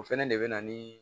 O fɛnɛ de bɛ na ni